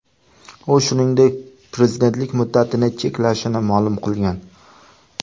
U, shuningdek, prezidentlik muddatining cheklashini ma’lum qilgan.